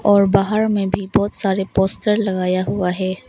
और बाहर में भी बहुत सारे पोस्टर लगाया हुआ है।